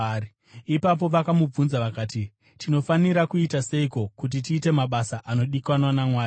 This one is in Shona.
Ipapo vakamubvunza vakati, “Tinofanira kuita seiko kuti tiite mabasa anodikanwa naMwari?”